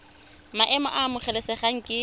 maemo a a amogelesegang ke